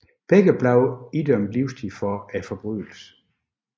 Begge blev idømt livstid for forbrydelsen